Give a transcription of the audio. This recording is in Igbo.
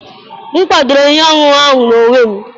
M gwakọtara ihe ọṅụṅụ ahụ n'onwe m.